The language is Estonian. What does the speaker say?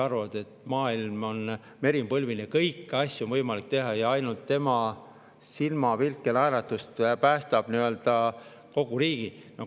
Nad arvavad – meri on põlvini –, et kõiki asju on võimalik teha ja ainult nende silmapilgutus ja naeratus päästavad kogu riigi.